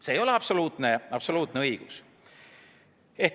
See ei ole absoluutne õigus.